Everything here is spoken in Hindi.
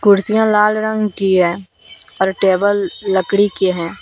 कुर्सियां लाल रंग की है और टेबल लकड़ी की है।